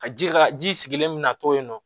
Ka ji ka ji sigilen mina to yen nɔ